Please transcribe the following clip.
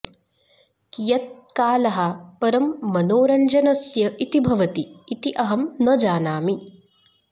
कियत् कालः परं मनोरन्जनस्य इति भवति इति अहं न जानामि